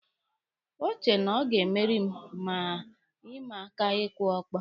O che na ọ ga-emeri m na ịma aka ịkụ ọkpọ.